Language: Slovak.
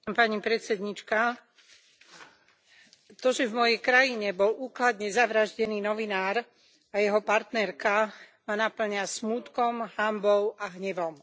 Vážená pani predsedníčka, to, že v mojej krajine bol úkladne zavraždený novinár a jeho partnerka, ma napĺňa smútkom, hanbou a hnevom.